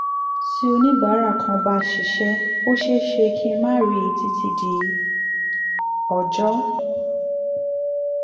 tí oníbàárà kan bá ṣíṣẹ́ ó ṣeé ṣe kí n má rí i títí di ọjọ́